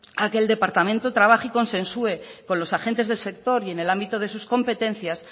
a que el departamento trabaje y consensue con los agentes del sector y en el ámbito de sus competencias